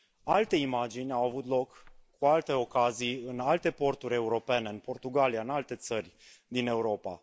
Alte imagini au avut loc cu alte ocazii, în alte porturi europene, în Portugalia, în alte țări din Europa.